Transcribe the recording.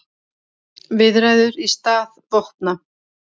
Viðræður í stað vopna